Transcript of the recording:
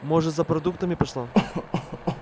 может за продуктами пошла